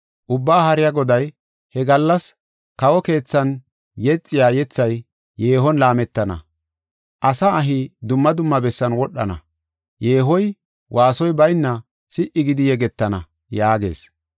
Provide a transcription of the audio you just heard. Ubbaa Haariya Goday, “He gallas kawo keethan yexiya yethay yeehon laametana; asa ahi dumma dumma bessan wodhana; yeehoy waasoy bayna si77i gidi yegetana” yaagees.